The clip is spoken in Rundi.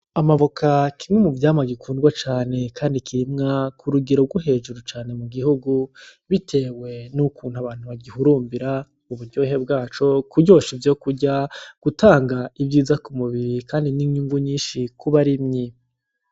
Amavoka, kimwe mu vyamwa bikundwa cane kandi kirimwa kurugero gwo hejuru cane mu gihugu bitewe nukuntu abantu bagihurumbira uburyohe bgaco mu kuryosha ivyokurya mugutanga ivyiza ku mubiri kandi ninyungu nyinshi ku barimyi.